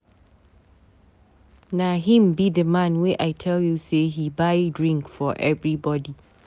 Na him be the man wey I tell you say he buy drink for everybody.